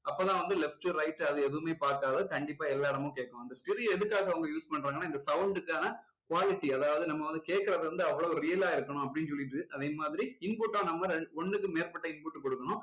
அப்போ எல்லாம் வந்து left right அது எதுவுமே பாக்காது கண்டிப்பா எல்லா இடமும் கேக்கும் அந்த stereo எதுக்காக அவங்க use பண்றாங்கன்னா இந்த sound க்கான quality அதாவது நம்ம வந்து கேக்குறது வந்து அவ்வளவு real ஆ இருக்கணும் அப்படின்னு சொல்லிட்டு அதேமாதிரி input டும் நம்ம ரெ~ ஒண்ணுக்கு மேற்பட்ட input கொடுக்கணும்